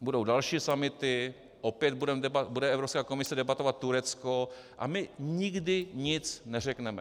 Budou další summity, opět bude Evropská komise debatovat Turecko, a my nikdy nic neřekneme.